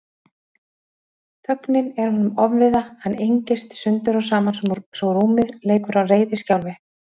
Þögnin er honum ofviða, hann engist sundur og saman svo rúmið leikur á reiðiskjálfi.